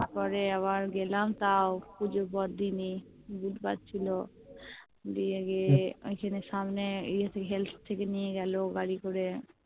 তারপরে আবার গেলাম তাও পুজোর পরদিনই বুধবার ছিল দিয়ে গিয়ে ওইখানে সামনে ইয়ে তে Health থেকে নিয়ে গেলো গাড়ি করে